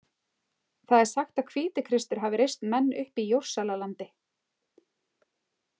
Það er sagt að Hvítikristur hafi reist menn upp í Jórsalalandi.